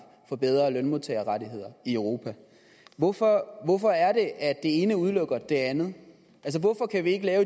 for bedre lønmodtagerrettigheder i europa hvorfor hvorfor er det at det ene udelukker det andet altså hvorfor kan vi ikke lave